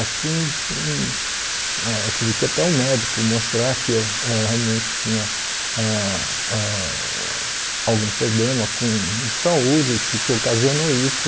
Assim, hum ãh tive que até o médico mostrar que eu eu realmente tinha ãh ãh algum problema com de saúde que que ocasionou isso.